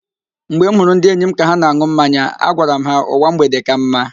Mgbe m hụrụ ndị enyi m ka ha na-an̄ụ mmanya, agwara m ha, "ụwa mgbede ka mma"